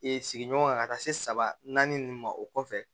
sigiɲɔgɔn ka taa se saba naani ninnu ma o kɔfɛ